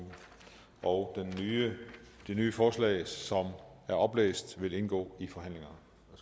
og det nye forslag som er oplæst vil indgå i forhandlingerne